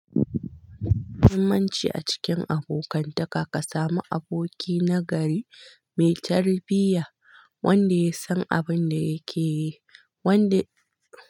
Muhimanci a cikin abokantaka ka samu aboki nagari mai tarbiyya wanda ya san abun da yake yi wanda.